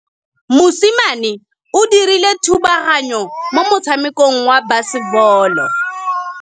Mosimane o dirile thubaganyô mo motshamekong wa basebôlô.